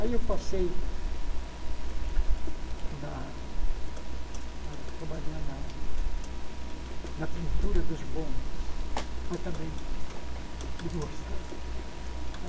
Aí eu passei na a trabalhar na na pintura dos bondes, mas também não gostava.